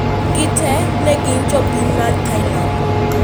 Gite ne gin jo piny mag Thailand